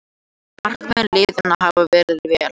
Markmenn liðanna hafa varið vel